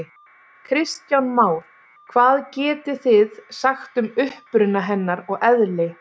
Kristján Már: Hvað getið þið sagt um uppruna hennar og eðli?